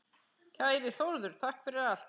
Kæri Þórður, takk fyrir allt.